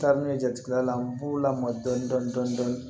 Taa ni ne jatigɛla n b'u lamɔ dɔɔnin dɔɔnin